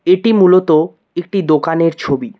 এটি মূলত একটি দোকানের ছবি।